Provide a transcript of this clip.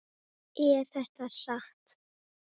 Er þetta satt?